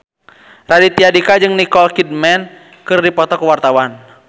Raditya Dika jeung Nicole Kidman keur dipoto ku wartawan